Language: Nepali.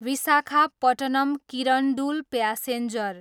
विशाखापट्टनम, किरण्डुल प्यासेन्जर